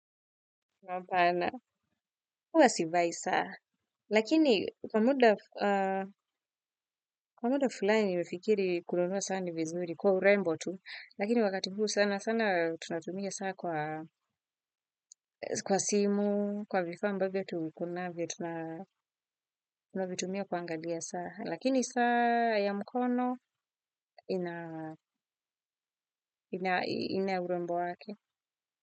Hapana, huwa sivai saa, lakini kwa muda kwa muda fulani nimefikiri kununua saa ni vizuri kwa urembo tu, lakini wakati huu sana sana tunatumia saa kwa simu, kwa vifaa ambavyo tu kunavyo tunavitumia kuangalia saa, lakini saa ya mkono ina ina urembo wake.